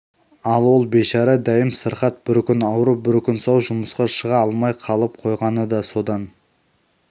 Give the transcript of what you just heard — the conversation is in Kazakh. ал ол бейшара дәйім сырқат бір күн ауру бір күн сау жұмысқа шыға алмай қалып қойғаны да содан